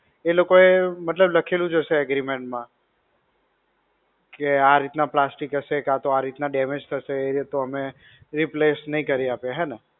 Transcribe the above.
એ લોકોએ મતલબ લખેલું જ હશે agreement માં. કે આ રીતના plastic હશે, કે આ રીતના damage હશે તો અમે replace નહિ કરી આપીએ હે ને?